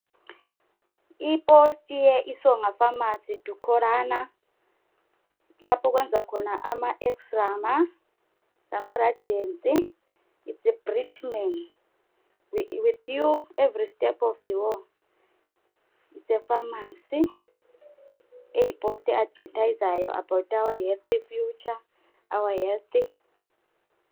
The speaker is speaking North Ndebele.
Ipost ye Isonga famasi itholakala lapho okwenza khona ama ex-rama lama radiants the britman with you every step of the way efamasi le yiposti e adivethazayo about our health future our health.